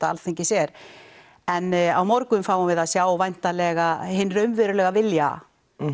Alþingis er en á morgun fáum við að sjá væntanlega hinn raunverulega vilja